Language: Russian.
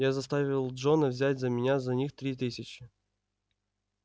я заставил джона взять за меня за них три тысячи